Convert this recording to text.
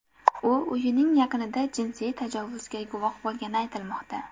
U uyining yaqinida jinsiy tajovuzga guvoh bo‘lgani aytilmoqda.